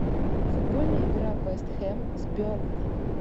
футбольная игра вест хэм с бернли